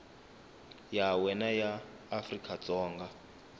ya wena ya afrika dzonga